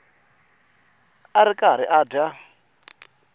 a ri karhi a dya